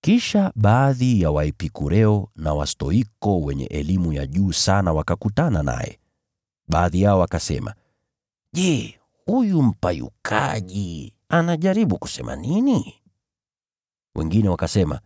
Kisha baadhi ya Waepikureo na Wastoiko wenye falsafa wakakutana naye. Baadhi yao wakasema, “Je, huyu mpayukaji anajaribu kusema nini?” Wengine wakasema,